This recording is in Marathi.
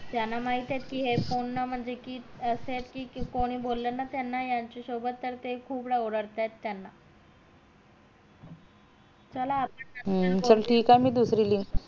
त्याना माहित येत हे पूर्ण म्हणजे कि असे येत कि कोणी बोल ना त्यांना यांच्या सोबत त ते खूप ओरडतात त्याना चला आता